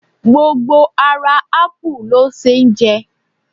Gbogbo ara ápù ló ṣeé jẹ